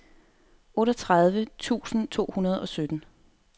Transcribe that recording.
otteogtredive tusind to hundrede og sytten